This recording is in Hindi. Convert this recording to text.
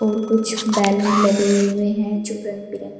और कुछ बैलून लगे हुए हैं जो रंगबिरंग--